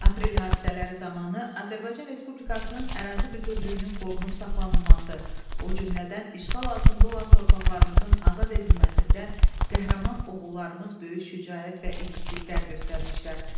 Aprel hadisələri zamanı Azərbaycan Respublikasının ərazi bütövlüyünün qorunub saxlanılması, o cümlədən işğal altında olan torpaqlarımızın azad edilməsində qəhrəman oğullarımız böyük şücaət və igidliklər göstərmişlər.